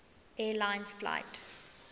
air lines flight